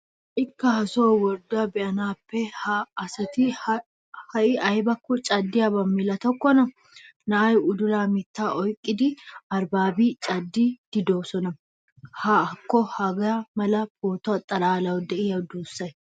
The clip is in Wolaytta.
Hay'ikka haasoo worddiyo be'annaappekka ha asat haiy aybakko caddiyaabaa milatokkonna. Naa'ay udulaa mittaa oykkid arbbabid caddidi de'oosona. Hakko hagaa mala pooto xallawu diyo duussay.